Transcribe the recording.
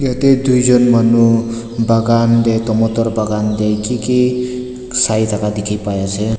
ite tuijun manu bagan deh tomoto bagan teh kiki saitakha dikhi paiase.